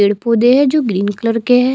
पेड़-पौधे है जो ग्रीन कलर के है।